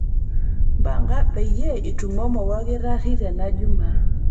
mpanga peyie itumomo wolkitari tena jumaa